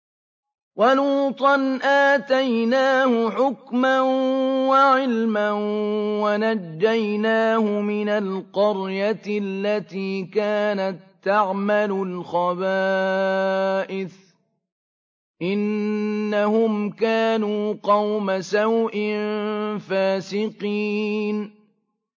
وَلُوطًا آتَيْنَاهُ حُكْمًا وَعِلْمًا وَنَجَّيْنَاهُ مِنَ الْقَرْيَةِ الَّتِي كَانَت تَّعْمَلُ الْخَبَائِثَ ۗ إِنَّهُمْ كَانُوا قَوْمَ سَوْءٍ فَاسِقِينَ